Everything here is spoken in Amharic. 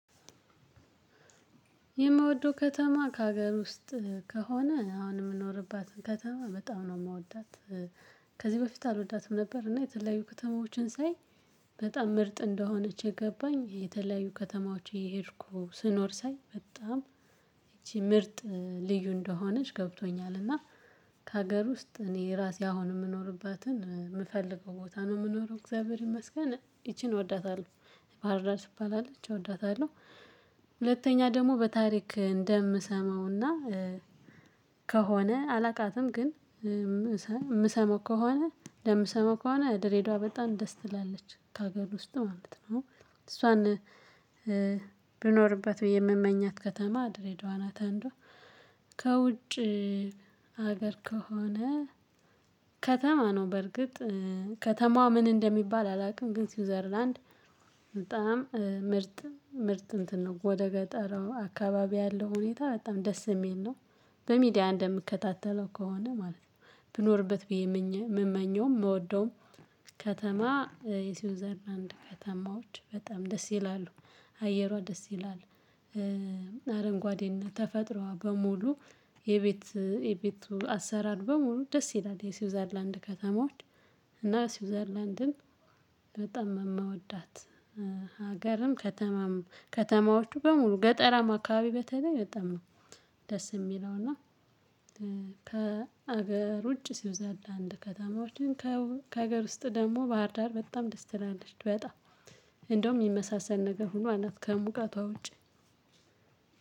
የምወደው ከተማ ከሀገር ውስጥ ከሆነ አሁን የምኖርባትን ከተማ በጣም ነው የምወዳት። ከዚህ በፊት አልወዳትም ነበር እና የተለያዩ ከተማዎችን ሳይ በጣም ምርጥ እንደሆነች የገባኝ የተለያዩ ከተማዎች የሄድኩ ስኖር ሳይ በጣም ይቺ ምርጥ ልዩ እንደሆነች ገብቶኛል። እና ከሀገር ውስጥ እኔ ራሴ አሁን የምኖርባትን የምፈልገው ቦታ ነው የምኖረው እግዚአብሔር ይመስገን ይቺን እወዳታለሁ። ባህርዳር ትባላለች እወዳታለሁ። ሁለተኛ ደግሞ በታሪክ እንደምሰማውና ከሆነ አላቃትም ግን ምሰማ ከሆነ ለምሰማ ከሆነ ድሬዳዋ በጣም ደስ ትላለች ከሀገር ውስጥ ማለት ነው። እሷን ብኖርበት ብዬ የምመኛት ከተማ ድሬዳዋ ናት። አንዷ ከውጭ ሀገር ከሆነ ከተማ ነው በርግጥ ከተማዋ ምን እንደሚባል አላውቅም። ግን ስዊዘርላንድ በጣም ምርጥ ምርጥ እንትን ነው ወደ ገጠሩ አካባቢ ያለው ሁኔታ በጣም ደስ የሚል ነው። በሚዲያ እንደምከታተለው ከሆነ ማለት ነው ብኖርበት ብዬ የምመኘውም የምወደውም። ከተማ የሲውዘርላናንድ ከተማዎች በጣም ደስ ይላሉ አየሯ ደስ ይላል። አረንጓዴና ተፈጥሮዋ በሙሉ የቤት የቤቱ አሰራር በሙሉ ደስ ይላል የስዊዘርላንድ ከተማዎች። እና ስዊዘርላንድን በጣም የምወዳት ሀገርም ከተማም ከተማዎቹ በሙሉ ገጠራማ አካባቢ በተለይ በጣም ነው። ደስ የሚለው እና። ከሀገር ውጭ ሲውዘርላንድ ከተማዎችን ከሀገር ውስጥ ደግሞ ባህር ዳር በጣም ደስ ትላለች። በጣም እንደውም የሚመሳሰል ነገር ሆኖ አላት ከሙቃቷ ውጪ።